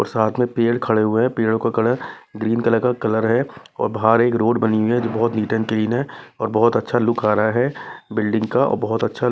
और साथ में पेड़ खड़े हुए हैं पेड़ों का कलर ग्रीन कलर का कलर हैऔर बाहर एक रोड बनी हुई हैजो बहुत नीट एंड क्लीन हैऔर बहुत अच्छा लुक आ रहा हैबिल्डिंग का और बहुत अच्छा--